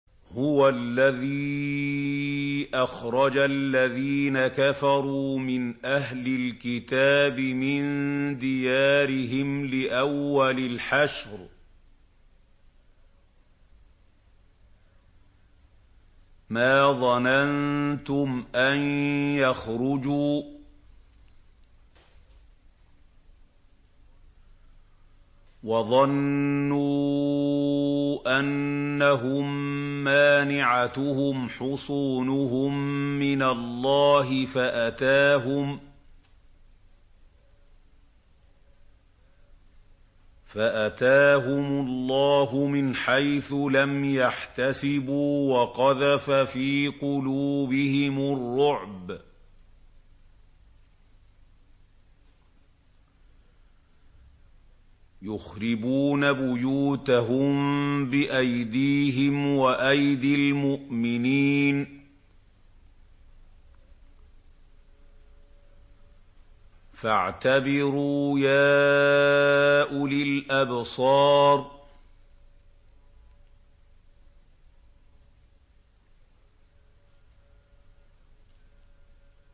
هُوَ الَّذِي أَخْرَجَ الَّذِينَ كَفَرُوا مِنْ أَهْلِ الْكِتَابِ مِن دِيَارِهِمْ لِأَوَّلِ الْحَشْرِ ۚ مَا ظَنَنتُمْ أَن يَخْرُجُوا ۖ وَظَنُّوا أَنَّهُم مَّانِعَتُهُمْ حُصُونُهُم مِّنَ اللَّهِ فَأَتَاهُمُ اللَّهُ مِنْ حَيْثُ لَمْ يَحْتَسِبُوا ۖ وَقَذَفَ فِي قُلُوبِهِمُ الرُّعْبَ ۚ يُخْرِبُونَ بُيُوتَهُم بِأَيْدِيهِمْ وَأَيْدِي الْمُؤْمِنِينَ فَاعْتَبِرُوا يَا أُولِي الْأَبْصَارِ